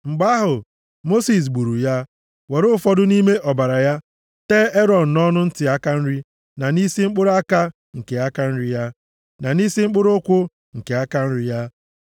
Mgbe ahụ, Mosis gburu ya, were ụfọdụ nʼime ọbara ya tee Erọn nʼọnụ ntị aka nri, na nʼisi mkpụrụ aka nke aka nri ya, na nʼisi mkpụrụ ụkwụ nke aka nri ya.